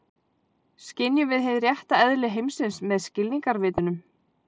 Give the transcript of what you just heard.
Skynjum við hið rétta eðli heimsins með skilningarvitunum?